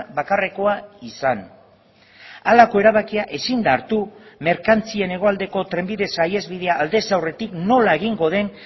bakarrekoa izan halako erabakia ezin da hartu merkantzien hegoaldeko trenbide saihesbidea aldez aurretik nola egingo den